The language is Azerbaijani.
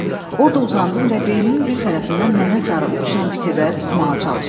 Orda uzandım və beynimin bir tərəfindən mənə sarı uçuşan fikirləri tutmağa çalışdım.